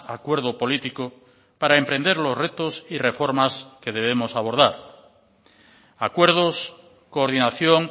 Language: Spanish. acuerdo político para emprender los retos y reformas que debemos abordar acuerdos coordinación